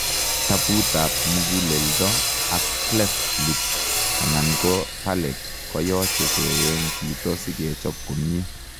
Taput ap muguleldo ak cleft lip alan ko palate koyoche keyeny chito si kechop komie.